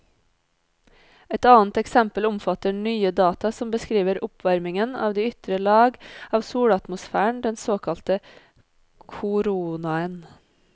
Et annet eksempel omfatter nye data som beskriver oppvarmingen av de ytre lag av solatmosfæren, den såkalte koronaen.